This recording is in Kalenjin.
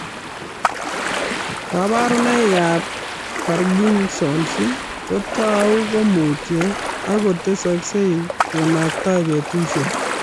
Kparunoikab parkinsons kotau komutyo ak tesoksei konaktai betusiek